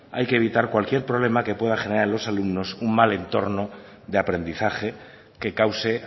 hay que evitar cualquier problema que pueda generar a los alumnos un mal entorno de aprendizaje que cause